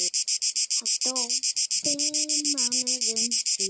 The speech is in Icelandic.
Hann dó fimm mánuðum síðar.